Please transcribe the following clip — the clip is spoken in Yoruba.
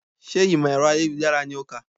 Sé ìmọ̀ ẹ̀rọ ayélujára ni o kà?